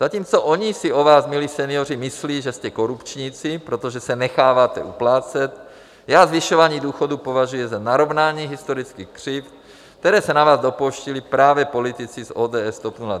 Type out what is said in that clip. Zatímco oni si o vás, milí senioři, myslí, že jste korupčníci, protože se necháváte uplácet, já zvyšování důchodů považuji za narovnání historických křivd, které se na vás dopouštěli právě politici z ODS, TOP 09 a STAN.